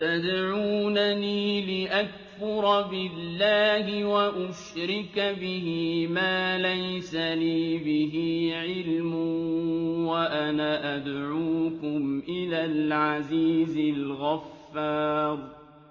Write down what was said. تَدْعُونَنِي لِأَكْفُرَ بِاللَّهِ وَأُشْرِكَ بِهِ مَا لَيْسَ لِي بِهِ عِلْمٌ وَأَنَا أَدْعُوكُمْ إِلَى الْعَزِيزِ الْغَفَّارِ